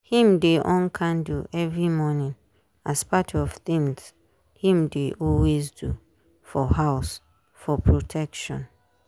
him dey on candle every morning as part of things him dey always do for house for protection